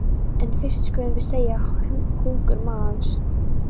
En fyrst skulum við seðja hungur magans.